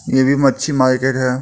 ये भी मच्छी मार्केट है।